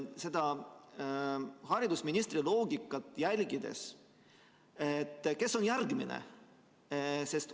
Jälgides haridusministri loogikat, siis kes on järgmine?